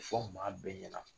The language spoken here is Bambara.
Ti fɔ maa bɛɛ ɲɛna.